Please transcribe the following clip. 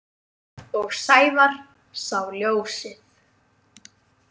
Og Sævar sá ljósið.